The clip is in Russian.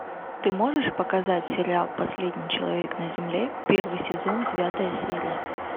ты можешь показать сериал последний человек на земле первый сезон девятая серия